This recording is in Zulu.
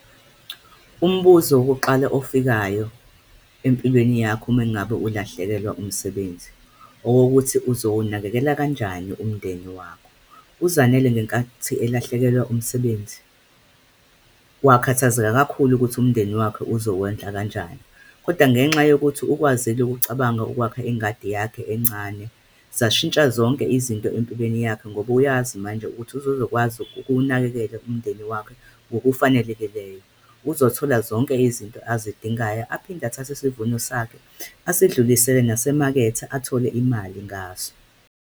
Umbuzo wokuqala ofikayo empilweni yakho mngabe ulahlekelwa umsebenzi, owokokuthi uzowunakekela kanjani umndeni wakho. UZanele ngenkathi elahlekelwa umsebenzi wakhathazeka kakhulu ukuthi umndeni wakhe uzowondla kanjani. Kodwa ngenxa yokuthi ukwazile ukucabanga ukwakha ingadi yakhe encane, zashintsha zonke izinto empilweni yakhe, ngoba uyazi manje ukuthi usezokwazi ukuwunakekela umndeni wakhe ngokufanelekileyo. Uzothola zonke izinto abazidingayo, aphinde athathe isivuno sakhe asidlulisele nasemakethe, athole imali ngaso.